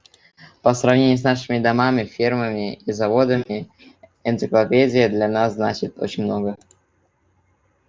по сравнению с нашими домами фермами и заводами энциклопедия для нас значит очень много